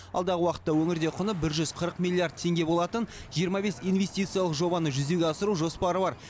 алдағы уақытта өңірде құны бір жүз қырық миллиард теңге болатын жиырма бес инвестициялық жобаны жүзеге асыру жоспары бар